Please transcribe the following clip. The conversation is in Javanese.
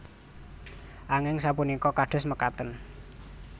Anging sapunika kados mekaten